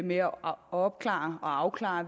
med at opklare og afklare